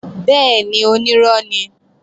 Bẹ́ẹ̀ni, onírọ́ ni